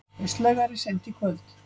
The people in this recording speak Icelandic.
Austlægari seint í kvöld